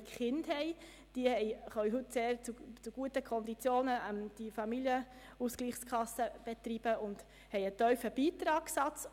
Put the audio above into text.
Diese können ihre Familienausgleichskassen heute zu sehr guten Konditionen betreiben, und sie haben einen tiefen Beitragssatz.